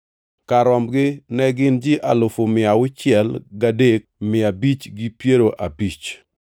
Kar rombgi ne gin ji alufu mia auchiel gadek mia abich gi piero abich (603,550).